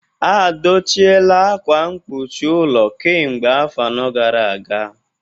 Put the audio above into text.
A dochiela akwa mkpuchi ụlọ kemgbe afọ anọ gara aga